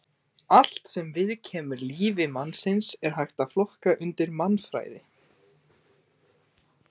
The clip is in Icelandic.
Allt sem viðkemur lífi mannsins er hægt að flokka undir mannfræði.